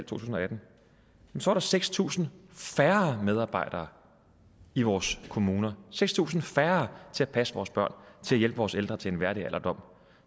tusind og atten var der seks tusind færre medarbejdere i vores kommuner seks tusind færre til at passe vores børn til at hjælpe vores ældre til en værdig alderdom